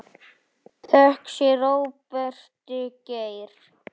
Þökk sé Róberti Geir.